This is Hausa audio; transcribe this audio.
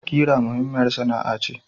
Kira muhimmiyar sana'a ce.